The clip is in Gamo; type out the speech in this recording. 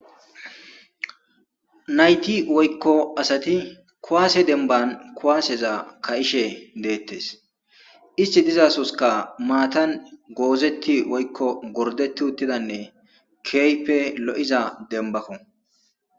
Nayti woykko asati kuwaase denban kuwaaseza ka'ishe deettes isti dizasoska maatan goozetti woykko gordeti uttidanne keeype lo'iza denbakko.